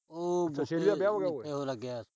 ਉਹ ਦਾ ਵਿਆਹ ਹੋ ਗਿਆ ਉਏ।